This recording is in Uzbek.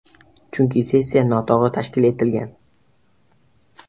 Chunki sessiya noto‘g‘ri tashkil etilgan.